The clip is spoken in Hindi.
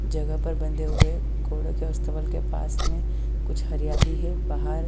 जगह पर बंधे हुए घोड़ों के अस्तबल के पास में कुछ हरियाली है बाहर--